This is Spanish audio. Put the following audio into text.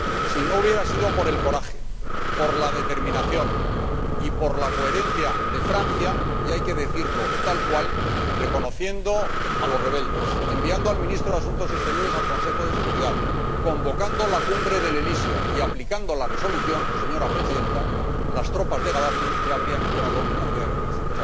Si no hubiera sido por el coraje, por la determinación y por la coherencia de Francia ―y hay que decirlo tal cual―, reconociendo a los rebeldes, enviando al Ministro de Asuntos Exteriores al Consejo de Seguridad, convocando la cumbre del Elíseo y aplicando la resolución, señora Presidenta, las tropas de Gadafi ya habrían entrado en la ciudad de Bengasi.